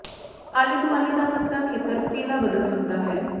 ਆਲੇ ਦੁਆਲੇ ਦਾ ਪੱਤਾ ਖੇਤਰ ਪੀਲਾ ਬਦਲ ਸਕਦਾ ਹੈ